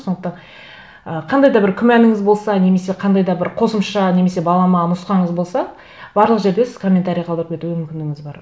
сондықтан ы қандай да бір күмәніңіз болса немесе қандай да бір қосымша немесе балама нұсқаңыз болса барлық жерде сіз комментарий қалдырып кетуге мүмкіндігіңіз бар